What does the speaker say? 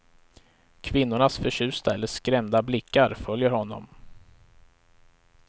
Kvinnornas förtjusta eller skrämda blickar följer honom.